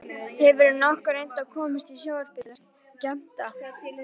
Hefurðu nokkuð reynt að komast í sjónvarpið til að skemmta?